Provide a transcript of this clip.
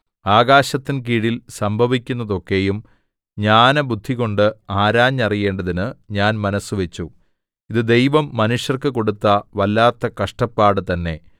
ആകാശത്തിൻ കീഴിൽ സംഭവിക്കുന്നതൊക്കെയും ജ്ഞാനബുദ്ധികൊണ്ട് ആരാഞ്ഞറിയേണ്ടതിന് ഞാൻ മനസ്സുവച്ചു ഇത് ദൈവം മനുഷ്യർക്ക് കൊടുത്ത വല്ലാത്ത കഷ്ടപ്പാടു തന്നേ